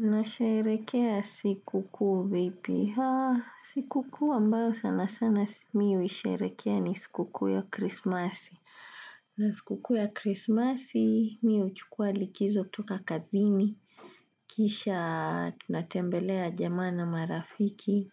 Na sherekea siku kuu vipi. Siku kuu ambayo sana sana mi huisherekea ni siku kuu ya krismasi. Na siku kuu ya krismasi mi huchukua likizo kutoka kazini. Kisha tunatembelea jamaa na marafiki.